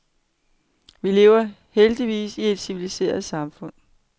Vi lever heldigvis i et civiliseret samfund.